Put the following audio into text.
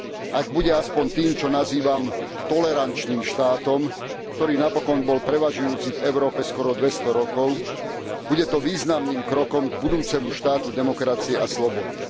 Ak bude aspoň tým, čo nazývam tolerančným štátom, ktorý napokon bol prevažujúci v Európe skoro 200 rokov, bude to významným krokom k budúcemu štátu demokracie a slobody.